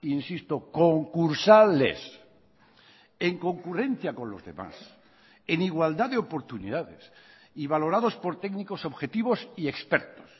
insisto concursales en concurrencia con los demás en igualdad de oportunidades y valorados por técnicos objetivos y expertos